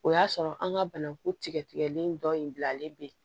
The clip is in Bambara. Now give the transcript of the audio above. O y'a sɔrɔ an ka bananku tigɛtigɛlen dɔ in bilalen bɛ yen